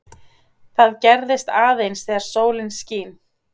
það gerist aðeins þegar sólin skín